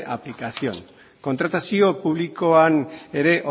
aplicación kontratazio publikoan ere